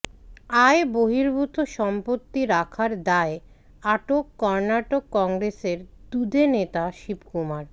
আয় বহির্ভূত সম্পত্তি রাখার দায়ে আটক কর্নাটক কংগ্রেসের দুঁদে নেতা শিবকুমার